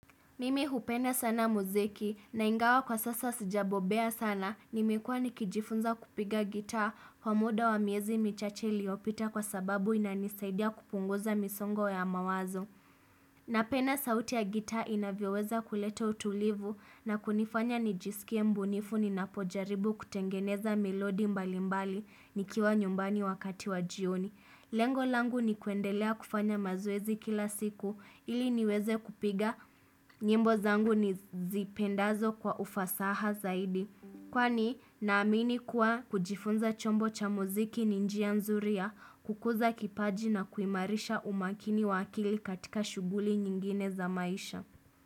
Mimi hupenda sana muziki na ingawa kwa sasa sijabobea sana nimekua nikijifunza kupiga gitaa kwa muda wa miezi michache iliyopita kwa sababu inanisaidia kupunguza misongo ya mawazo. Napenda sauti ya gitaa inavyoweza kuleta utulivu na kunifanya nijisikie mbunifu ninapojaribu kutengeneza melodi mbalimbali nikiwa nyumbani wakati wa jioni. Lengo langu ni kuendelea kufanya mazoezi kila siku ili niweze kupiga nyimbo zangu ni zipendazo kwa ufasaha zaidi. Kwani naamini kuwa kujifunza chombo cha muziki ninjia nzuri ya kukuza kipaji na kuimarisha umakini wa akili katika shughuli nyingine za maisha.